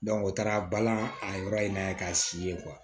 o taara balan a yɔrɔ in na k'a si ye